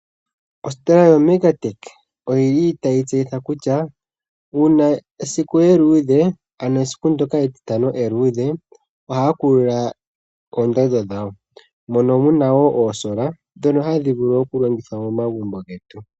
Ositola yoMEGATECH oyi li tayi tseyitha kutya uuna esiku eluudhe, ano esiku ndyoka etitano eluudhe, ohaakula oondando dhawo mono muna oosolar ndhono hadhi vulu okulongithwa megumbo getu .